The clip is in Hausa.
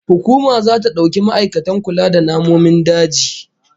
Hukuma zata dauki ma'aikatan kula da namomin daji